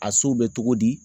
A sow bɛ cogo di